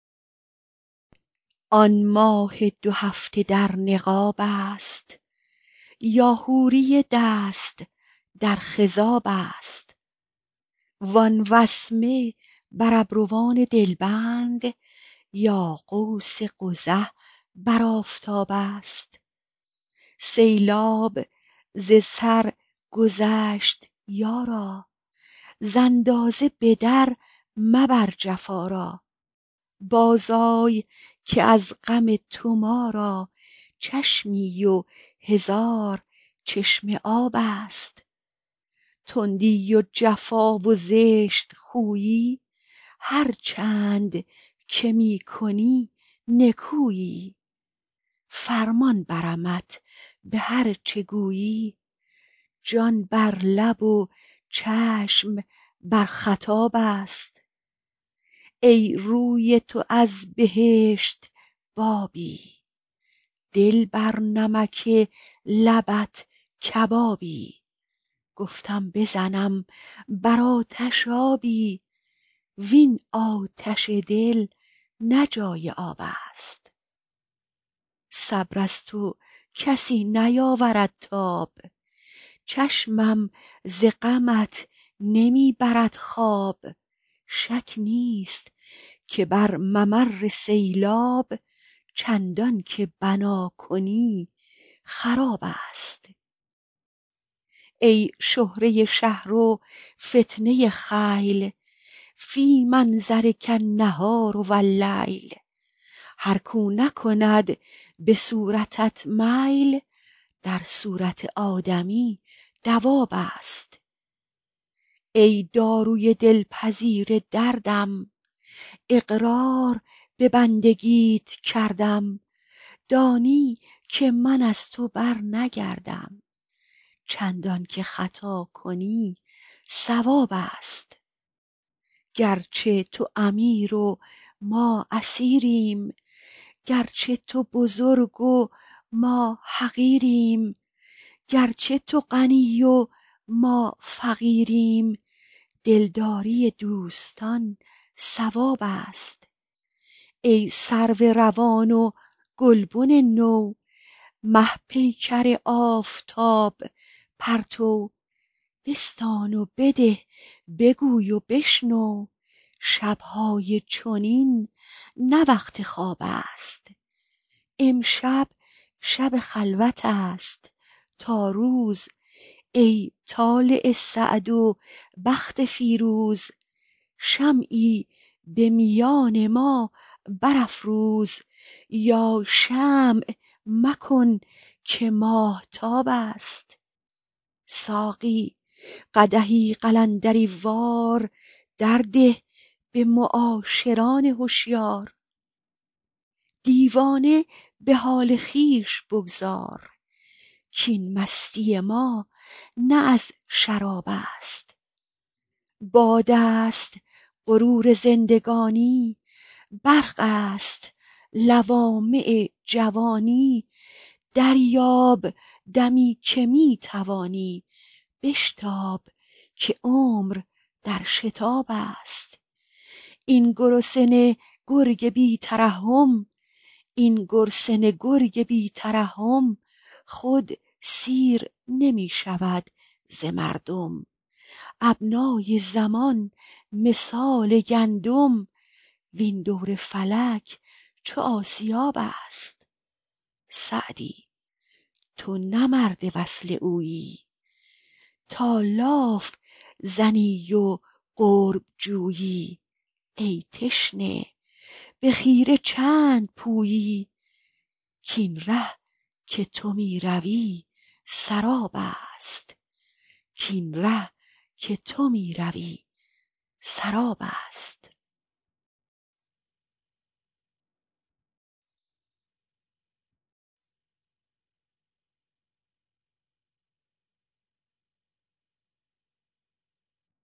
آن ماه دو هفته در نقاب است یا حوری دست در خضاب است وان وسمه بر ابروان دلبند یا قوس قزح بر آفتاب است سیلاب ز سر گذشت یارا ز اندازه به در مبر جفا را بازآی که از غم تو ما را چشمی و هزار چشمه آب است تندی و جفا و زشت خویی هرچند که می کنی نکویی فرمان برمت به هر چه گویی جان بر لب و چشم بر خطاب است ای روی تو از بهشت بابی دل بر نمک لبت کبابی گفتم بزنم بر آتش آبی وین آتش دل نه جای آب است صبر از تو کسی نیاورد تاب چشمم ز غمت نمی برد خواب شک نیست که بر ممر سیلاب چندان که بنا کنی خراب است ای شهره شهر و فتنه خیل فی منظرک النهار و اللیل هر کاو نکند به صورتت میل در صورت آدمی دواب است ای داروی دلپذیر دردم اقرار به بندگیت کردم دانی که من از تو برنگردم چندان که خطا کنی صواب است گرچه تو امیر و ما اسیریم گرچه تو بزرگ و ما حقیریم گرچه تو غنی و ما فقیریم دلداری دوستان ثواب است ای سرو روان و گلبن نو مه پیکر آفتاب پرتو بستان و بده بگوی و بشنو شب های چنین نه وقت خواب است امشب شب خلوت است تا روز ای طالع سعد و بخت فیروز شمعی به میان ما برافروز یا شمع مکن که ماهتاب است ساقی قدحی قلندری وار در ده به معاشران هشیار دیوانه به حال خویش بگذار کاین مستی ما نه از شراب است باد است غرور زندگانی برق است لوامع جوانی دریاب دمی که می توانی بشتاب که عمر در شتاب است این گرسنه گرگ بی ترحم خود سیر نمی شود ز مردم ابنای زمان مثال گندم وین دور فلک چو آسیاب است سعدی تو نه مرد وصل اویی تا لاف زنی و قرب جویی ای تشنه به خیره چند پویی کاین ره که تو می روی سراب است